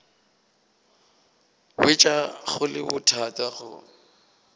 hwetša go le bothata go